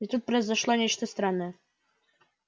и тут произошло нечто странное